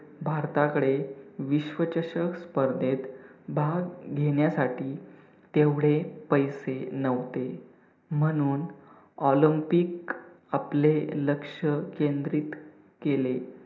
भारताकडे विश्वचषक स्पर्धेत भाग घेण्यासाठी तेवढे पैसे न्हवते म्हणून olympic आपले लक्ष्य केंद्रित केले.